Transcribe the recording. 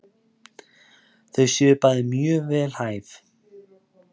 Þau séu bæði mjög vel hæf.